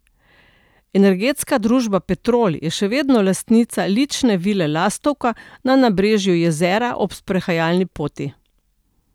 Energetska družba Petrol je še vedno lastnica lične vile Lastovka na nabrežju jezera ob sprehajalni poti.